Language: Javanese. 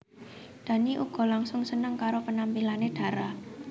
Dhani uga langsung seneng karo penampilané Dara